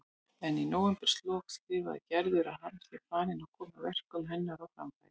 En í nóvemberlok skrifar Gerður að hann sé farinn að koma verkum hennar á framfæri.